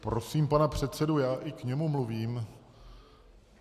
Prosím pana předsedu - já i k němu mluvím...